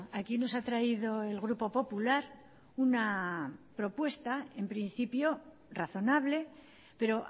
aquí nos ha traído el grupo popular una propuesta en principio razonable pero